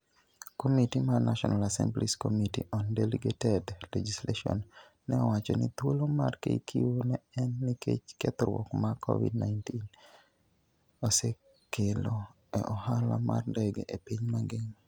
Komiti mar National Assembly's Committee on Delegated Legislation ne owacho ni thuolo mar KQ ne en nikech kethruok ma Covid-19 osekelo e ohala mar ndege e piny mangima.